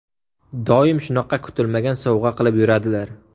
Doim shunaqa kutilmagan sovg‘a qilib yuradilar.